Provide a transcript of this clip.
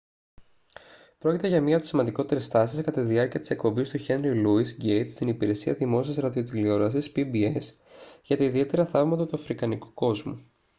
πρόκειται για μία από τις σημαντικότερες στάσεις κατά τη διάρκεια της εκπομπής του χένρι λόυις γκέιτς στην υπηρεσία δημόσιας ραδιοτηλεόρασης pbs για τα ιδιαίτερα θαύματα του αφρικανικού κόσμου